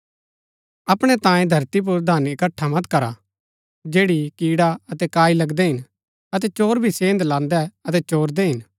अपणै तांयें धरती पुर धन इकट्ठा मत करा जैड़ी कीड़ा अतै काई लगदै हिन अतै चोर भी सेंध लान्दै अतै चोरदै हिन